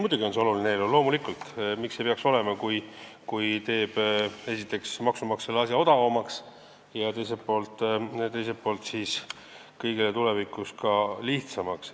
Muidugi on see oluline eelnõu, loomulikult, miks ta ei peaks seda olema, kui ta teeb esiteks maksumaksjale asja odavamaks ja teiselt poolt kõigile tulevikus ka lihtsamaks.